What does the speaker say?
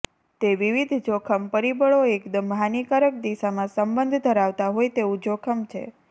તે વિવિધ જોખમ પરિબળો એકદમ હાનિકારક દિશામાં સંબંધ ધરાવતા હોય તેવું જોખમ છે